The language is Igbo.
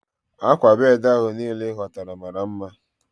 Akwa bedi ahu niile i hotara mara nma